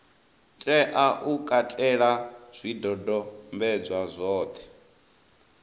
tea u katela zwidodombedzwa zwothe